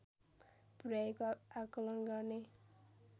पुर्‍याएको आकलन गर्ने